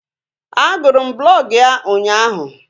A gụrụ m blọg ya ụnyaahụ